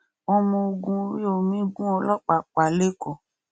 ọmọ ogun orí omi gun ọlọpàá pa lẹkọọ